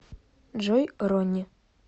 джой ронни